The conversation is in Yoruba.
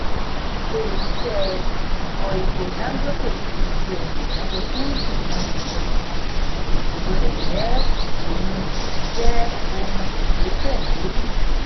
ile iṣẹ́ ìfọ epo dangote kíi ṣe ona àbáyọ fún ìkùnà ìfọ epo kò sì gbọ́dọ̀ jẹ́ òun jẹ́ òun ìgbẹ́kẹ̀lé nìkan.